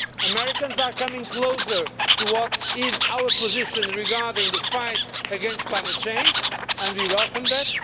Americans are coming closer to our position regarding the fight against climate change, and we welcome that.